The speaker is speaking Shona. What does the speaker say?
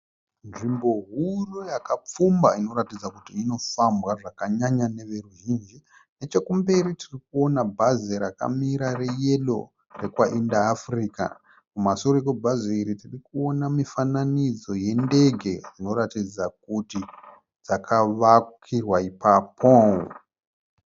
Nzvimbo huru yakapfumba inoratidza kuti inofambwa zvakanyanya neveruzhinji. Nechekumberi tirikuona bhazi rakamira reyero rekwaIndaafurika. Kumasure kwebhazi iri tirikuona mifananidzo yendege dzinoratidza kuti dzakavakirwa ipapo.